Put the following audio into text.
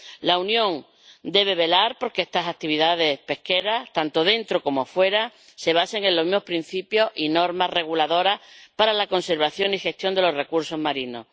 La Unión debe velar por que estas actividades pesqueras, tanto dentro como fuera, se basen en los mismos principios y normas reguladoras para la conservación y gestión de los recursos marinos.